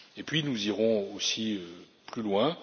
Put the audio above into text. Puis, nous irons aussi plus loin.